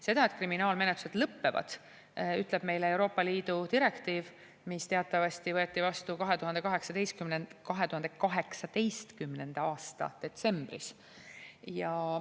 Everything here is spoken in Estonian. Seda, et kriminaalmenetlused lõppevad, ütleb meile Euroopa Liidu direktiiv, mis teatavasti võeti vastu 2018. aasta detsembris.